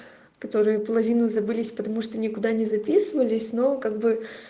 которые половину забылись потому что никуда не записывались но как бы